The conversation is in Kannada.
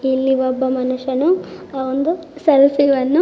ಇಲ್ಲಿ ಒಬ್ಬ ಮನುಷ್ಯನು ಅ ಒಂದು ಆ ಸೆಲ್ಫಿ ಅನ್ನು--